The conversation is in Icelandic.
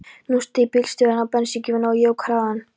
Nú steig bílstjórinn á bensíngjöfina og jók hraðann.